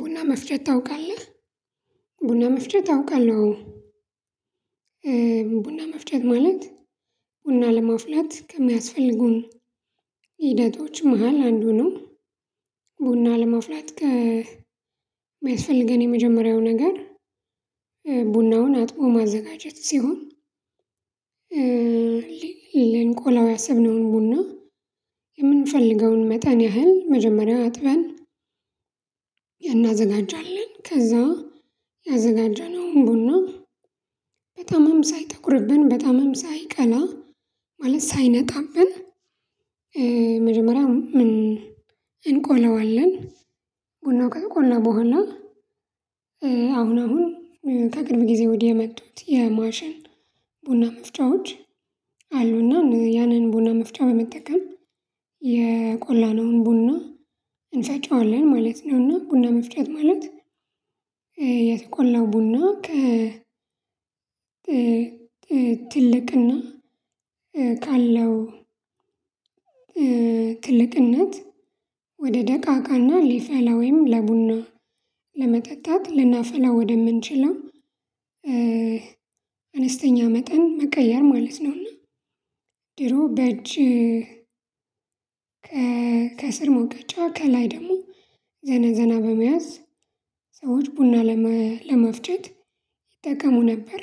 ቡና መፍጨት አውቃለሁ። አዎ ቡና መፍጨት ማለት ቡና ለማፍላት ከሚያስፈልጉን ሂደቶች መሃል አንዱ ነው። ቡና ለመፍላት ቢያስፈልገን የመጀመሪያው ነገር ቡናውን አጥቦ ማዘጋጀት ሲሆን ልንቆላው ያሰብነውን ቡና የምንፈልገውን መጠን ያህል መጀመሪያው አጥበን እናዘጋጃልን ከዛ ያዘጋጀነውን ቡና በተማም ሳይጠቁርብን በጣም ሳይቀና ማለት ሳይነጣብን መጀመሪያ እንቆለዋለን። ቡናው ከተቆን ቆና በኋላ አሁን አሁን ከቅርብ ጊዜ ወዲያ የመጡት የማሽን ቡና መፍጫዎች ያንን ቡና መፍጫ በመጠቀም የቆላነውን ቡና እንፈጨዋለን ማለት ነው እና ቡና መፍጨት ማለት የተቆላው ቡና ከ ትልቅና ካለው ትልቅነት ክልቅነት ወደ ደቃቃና ሊፈላ ወይም ለቡና ለመጠጣት ልናፈላ ወደምንችለው አነስተኛ መጠን መቀየር ማለት ነውና ድሬሮ በእጅ ከስር መውቀጫ ከላይ ደግሞ ዘና ዘና በመያዝ ሰዎች ቡና ለመፍጨት ይጠቀሙ ነበር።